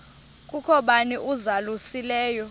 kukho bani uzalusileyo